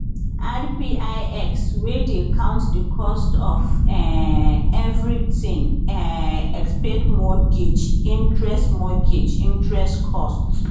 rpix wey dey count di cost of um everything um except mortgage interest mortgage interest costs